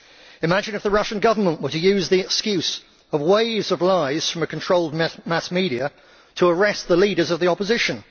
Imagine if the Russian Government were to use the excuse of waves of lies from a controlled mass media to arrest the leaders of the opposition.